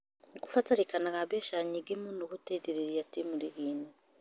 Nũkũbatarĩkanaga mbeca nyingĩ mũno guteithĩrĩria timu ligi-inĩ